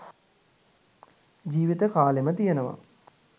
ජීවිත කාලෙම තියනවා.